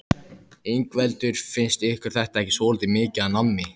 Ingveldur: Finnst ykkur þetta ekki svolítið mikið af nammi?